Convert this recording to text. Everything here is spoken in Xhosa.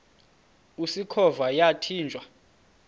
usikhova yathinjw a